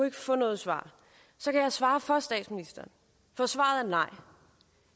ikke få noget svar så kan jeg svare for statsministeren for svaret er nej